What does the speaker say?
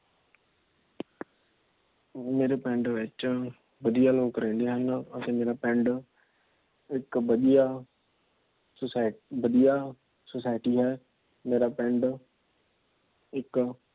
ਮੇਰੇ ਪਿੰਡ ਵਿੱਚ ਵਧੀਆ ਲੋਕ ਰਹਿੰਦੇ ਹਨ। ਅਤੇ ਮੇਰਾ ਪਿੰਡ ਇੱਕ ਵਧੀਆ Society ਵਧੀਆ Society ਹੈ। ਮੇਰਾ ਪਿੰਡ ਇੱਕ